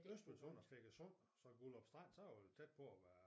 Øst ved sund og Feggesund og så Gullerup Strand så er det tæt på at være